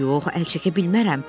Yox, əl çəkə bilmərəm.